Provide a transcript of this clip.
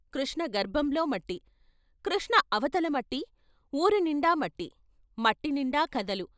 కృష్ణ గర్భంలో మట్టి, కృష్ణ అవతల మట్టి, వూరునిండా మట్టి మట్టినిండా కథలు....